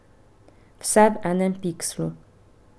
Vse v enem pikslu.